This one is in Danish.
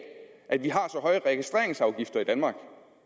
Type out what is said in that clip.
at vi har så høje registreringsafgifter i danmark